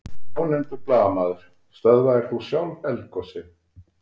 Ónefndur blaðamaður: Stöðvaðir þú sjálf eldgosið?